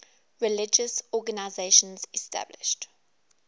religious organizations established